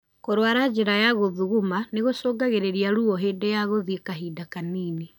Kũrwara njĩra ya gũthuguma nĩgũcungagĩrĩria ruo hĩndĩ ya gũthĩi kahinda kanini.